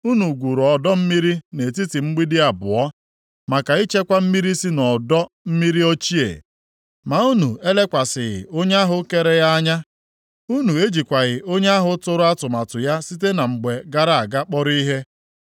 Unu gwuru ọdọ mmiri nʼetiti mgbidi abụọ maka ichekwa mmiri si nʼọdọ mmiri ochie, ma unu elekwasịghị Onye ahụ kere ya anya, unu ejikwaghị Onye ahụ tụrụ atụmatụ ya site na mgbe gara aga kpọrọ ihe.